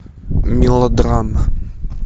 мелодрама